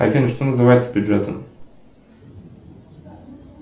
афина что называется бюджетом